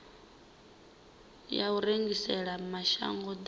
ya u rengisela mashango ḓavha